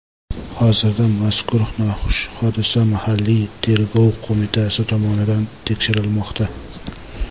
Hozirda mazkur noxush hodisa mahalliy tergov qo‘mitasi tomonidan tekshirilmoqda.